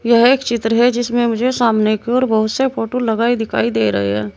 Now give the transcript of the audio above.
यह एक चित्र है जिसमें मुझे सामने की ओर बहुत से फोटो लगाई दिखाई दे रहे हैं।